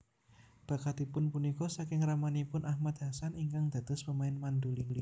Bakatipun punika saking ramanipun Ahmad Hassan ingkang dados pemain mandolin